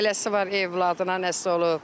Eləsi var övladına nəsə olub.